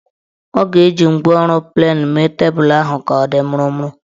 Ọ ga-eji ngwaọrụ plenu mee tebulu ahụ ka ọ dị mụrụmụrụ